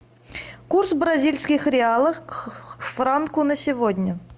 курс бразильских реалов к франку на сегодня